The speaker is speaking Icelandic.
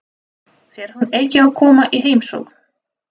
Fer hún ekki að koma í heimsókn?